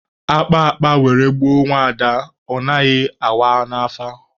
A kpaa akpa were gbuo nwaada, ọ naghị awa n'afa.